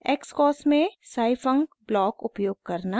* xcos में scifunc block उपयोग करना